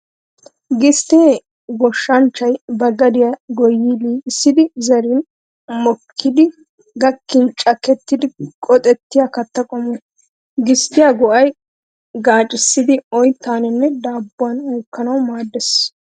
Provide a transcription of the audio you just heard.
Gisttee goshshanchchay ba gadiyaa goyyidi liiqissidi zerin mokkidi gakkin cakkettidi qoxettiyaa katta qommo. Gisttiyaa go'ay gaacissidi oyttaanne daabbuwaa uukkaanawu maaddees.